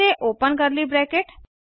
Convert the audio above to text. फिर से open curly bracket